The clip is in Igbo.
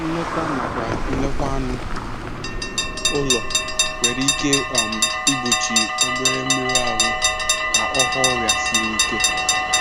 Nleta nakwa nlekwa anụ ụlọ nwere ike um igbochi obere mmerụ ahụ ka ọ ghọọ ọrịa siri ike.